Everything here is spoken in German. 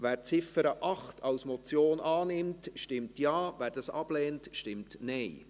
Wer die Ziffer 8 als Motion annimmt, stimmt Ja, wer dies ablehnt, stimmt Nein.